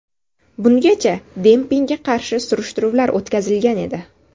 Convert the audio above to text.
Bungacha dempingga qarshi surishtiruvlar o‘tkazilgan edi.